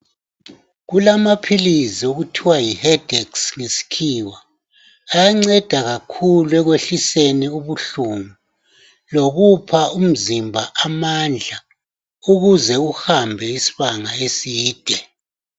Kulamaphilisi okuthiwa yiHedex ngesikhiwa. Ayanceda kakhulu, ekwehliseni ubuhlungu. Lokupha umzimba amandla. Ukuze uhambe isibanga eside.